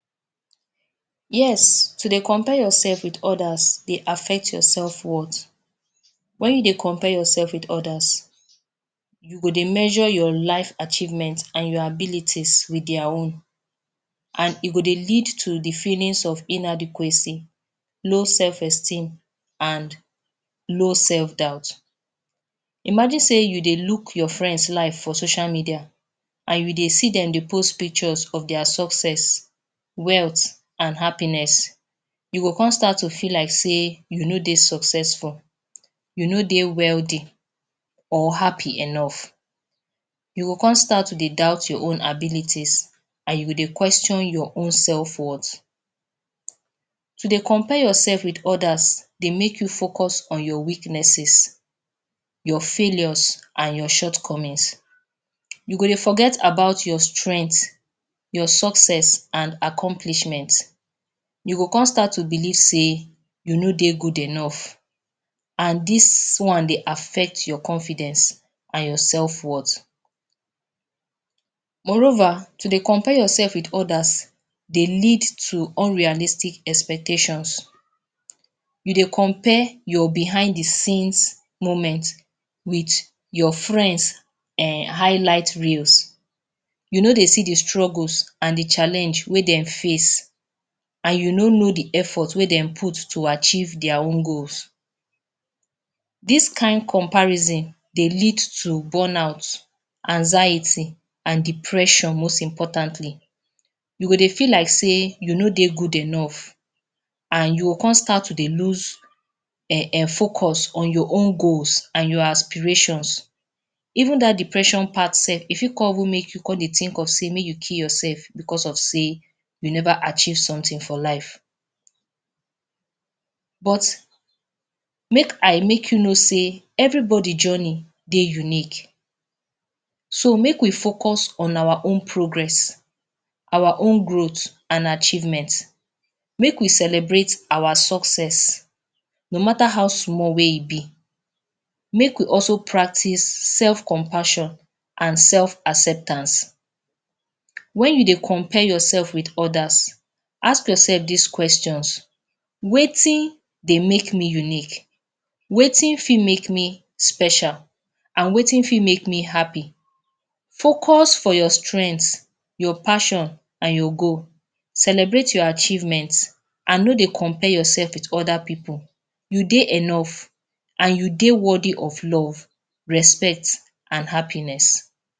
Yes to dey compare yourself with others dey affect yourself worth when you dey compare yourself with others you go dey measure your life achievement and your abilities with their own and e go dey lead to de feeling of inadequacy low self esteem and low self doubt imagine. sey you dey look your friend life for social media and you dey see dem dey post pictures of their success wealth and happiness you go come start to feel like sey you no dey successful you no dey wealthy or happy enough. you go come start to dey doubt your own abilities and you go dey question your own self worth to dey compare yourself with others dey make you focus on your weaknesses your failures and your shortcomings. you go dey forget about your strength your success and accomplishments you go come start to believe sey you no dey goo enough and this one dey affect your confidence and yourself worth moreover to dey compare yourself with others dey lead to unrealistic expectations. you dey compare your behind de scenes moment with your friends highlight reels you no dey see de struggles and de challenge wey dem face and you no know de effort wey dem put to achieve their own goals this kind comparison dey lead to burn out anxiety and depression. most importantly you go dey feel like sey you no dey good enough and you go come start to dey loose focus on your own goals and your aspirations even that depression part self go come even make you come dey think make you kill yourself because of sey you never achieve something for life but make I make you know sey everybody journey dey unique so make we focus on our own progress, our own growth and achievement make we celebrate our success no mata how small wey e be, make we also practice self compassion and self acceptance. when you dey compare yourself with others, ask yourself this questions: wetin dey make me unique wetin fit make me special and wetin fit make me happy, focus for your strength your passion and your goal. celebrate your achievement and no dey compare yourself with other pipu. You too dey enough and you dey worthy of love respect and happiness.